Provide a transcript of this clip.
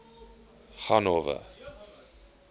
hanover